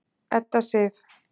Edda Sif.